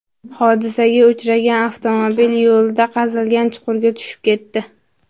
Hodisaga uchragan avtomobil yo‘lda qazilgan chuqurga tushib ketdi.